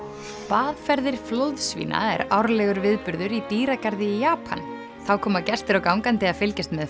baðferðir flóðsvína er árlegur viðburður í dýragarði í Japan þá koma gesti og gangandi að fylgjast með